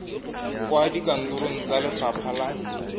kwa dikantorong tsa lefapha la